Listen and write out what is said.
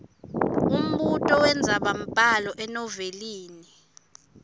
umbuto wendzabambhalo enovelini